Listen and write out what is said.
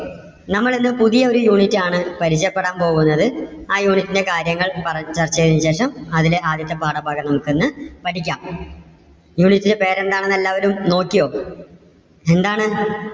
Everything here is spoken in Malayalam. നമ്മൾ ഇന്ന് പുതിയ ഒരു unit ആണ് പരിചയപ്പെടാൻ പോകുന്നത്. ആ unit ലെ കാര്യങ്ങൾ പറഞ്ഞു ചർച്ച ചെയ്തതിനു ശേഷം, അതിലെ ആദ്യത്തെ പാഠഭാഗം നമുക്ക് ഇന്ന് പഠിക്കാം. unit ന്‍ടെ പേര് എന്താണെന്ന് എല്ലാവരും നോക്കിയോ? എന്താണ്?